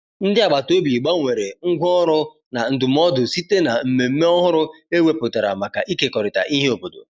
ndi agabata obi gbanwere ngwa ọrụ na ndumụdo site na mmeme ọhụrụ e weputara maka ikekọrita ihe obodo